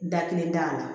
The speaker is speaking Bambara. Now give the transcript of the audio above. Da kelen da a la